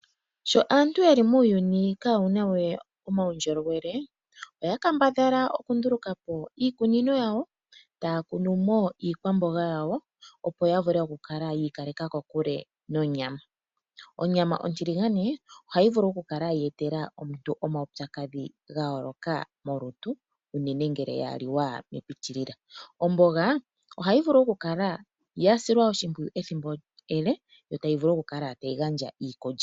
Sho aantu yeli muuyuni kawuna we omaundjolowele oya kambadhala okundulukapo iikunino yawo etaya kunumo iikwamboga yawo opo yavule yiikaleka kokule nonyama. Onyama ontiligane ohayi vulu okukala yeetela omuntu omaupyakadhi gayooloka molutu unene ngele ya liwa epitilila. Omboga ohayi vulu okukala yasilwa oshimpwiyu ethimbo ele yo tayi vulu okukala tayi gandja iikulya.